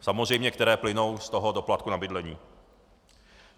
Samozřejmě které plynou z toho doplatku na bydlení.